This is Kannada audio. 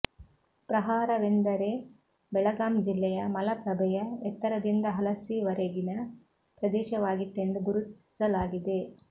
ಪ್ರಹಾರ ವೆಂದರೆ ಬೆಳಗಾಂ ಜಿಲ್ಲೆಯ ಮಲಪ್ರಭೆಯ ಎತ್ತರದಿಂದ ಹಲಸಿವರೆಗಿನ ಪ್ರದೇಶವಾಗಿತ್ತೆಂದು ಗುರುತಿಸಲಾಗಿದೆ